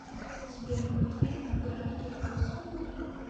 сбер мультфильмы гравити фолз